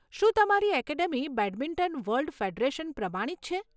શું તમારી academy badminton world federation પ્રમાણિત છે?